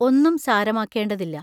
ഒന്നും സാരമാ ക്കേണ്ടതില്ല.